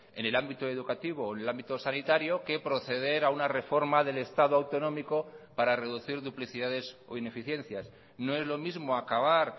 en el ámbito educativo o en el ámbito sanitario que proceder a una reforma del estado autonómico para reducir duplicidades o ineficiencias no es lo mismo acabar